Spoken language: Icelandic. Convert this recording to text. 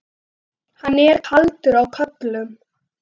Hann er kaldur á köflum.